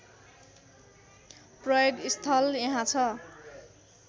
प्रयोगस्थल यहाँ छ